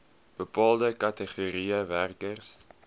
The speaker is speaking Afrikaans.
bepaalde kategorieë werkers